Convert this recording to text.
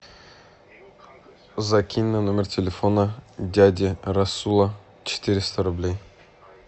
закинь на номер телефона дяди расула четыреста рублей